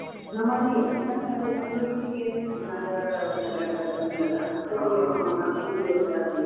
ನಮ್ಮಲ್ಲಿ ಯಕ್ಷಗಾನ ಕಲೆ, ನಮ್ದು ಈಚಿನ ನಾಡ ಕನ್ನಡ, ಕನ್ನಡಲಾ ಯಕ್ಷಗಾನ ಇಲ್ಲೆಲ್ಲಾ ಜಾಸ್ತಿ.